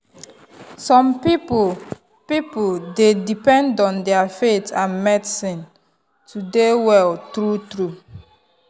some people people dey depend on their faith and medicine to dey well true-true.